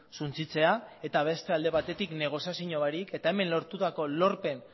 suntsitzea eta beste alde batetik negoziazio barik eta hemen lortutako lorpen